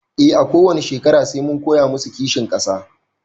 E a kowani shekara sai mun koya masu kishin ƙasa